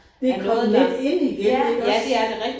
Det kommet lidt ind igen iggås